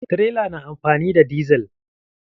Tirelar na amfani da dizal.